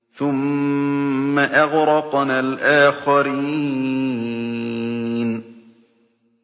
ثُمَّ أَغْرَقْنَا الْآخَرِينَ